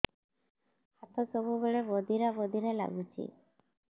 ହାତ ସବୁବେଳେ ବଧିରା ବଧିରା ଲାଗୁଚି